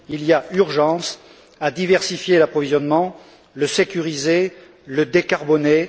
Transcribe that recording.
Il y a urgence à diversifier l'approvisionnement, à le sécuriser, à le décarboner.